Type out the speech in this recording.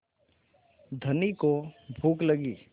धनी को भूख लगी